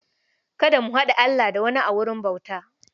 Kada ku haɗa Allah da wani a wurin bauta.